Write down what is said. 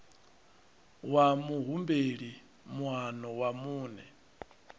wa muhumbeli moano wa muṋe